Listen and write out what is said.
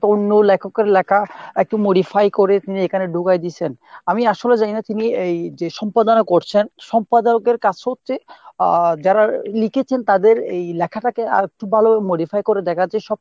অন্য লেখকের লেখা একটু modify করে এখানে ঢুকাই দিছেন , আমি আসলে জানি না তিনি এই যে সম্পাদনা করছেন সম্পদায়ক এর কাজ হচ্ছে আহ যারা লিখেছেন তাদের এই লেখাটাকে আরেকটু ভালো modify করে দেখা যে সব